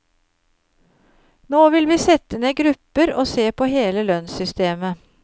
Nå vil vi sette ned grupper og se på hele lønnssystemet.